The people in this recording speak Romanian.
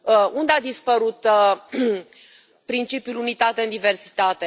Unde a dispărut principiul unită în diversitate?